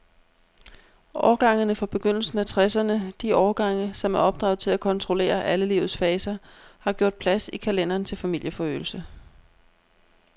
Årgangene fra begyndelsen af tresserne, de årgange, som er opdraget til at kontrollere alle livets faser, har gjort plads i kalenderen til familieforøgelse.